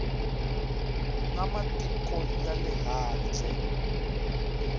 na matiko ya le handle